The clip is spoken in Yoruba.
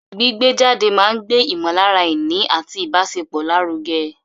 Gbígbé jáde máa ń gbé ìmọ̀lára ìní àti ìbáṣepọ̀ lárugẹ.